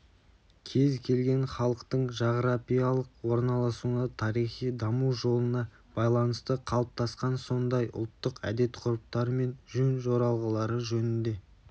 кез келген халықтың жағрапиялық орналасуына тарихи даму жолына байланысты қалыптасқан сондай ұлттық әдет-ғұрыптары мен жөн-жоралғылары жөнінде